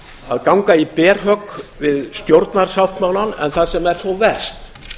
að ganga í berhögg við stjórnarsáttmálann en það sem er þó verst